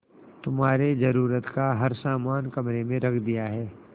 तुम्हारे जरूरत का हर समान कमरे में रख दिया है